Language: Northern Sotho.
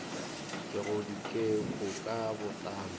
ke go ditekolo ka botlalo